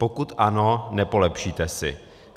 Pokud ano, nepolepšíte si.